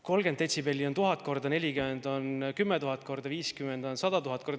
30 detsibelli on 1000 korda, 40 on 10 000 korda, 50 on 100 000 korda.